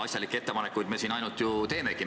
Asjalikke ettepanekuid me siin ju ainult teemegi.